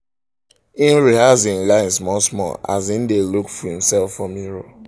im rehearse im lines small-small as im dae look himself for mirror